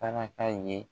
Taraka ye